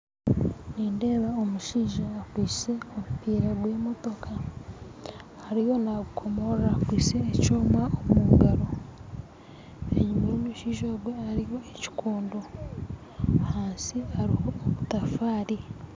Nindeeba omushaija akwitse omupiira gwa motoka ariyo nagukomora akwitse ekyoma omu ngaro enyuma ya omushaija ogu hariho ekikondo hansi hariho ebitafaari